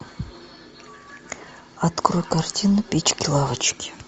открой картину печки лавочки